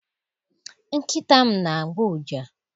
Nkịta m na- agbọ ụja